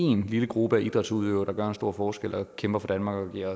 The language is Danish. en lille gruppe af idrætsudøvere der gør en stor forskel kæmper for danmark giver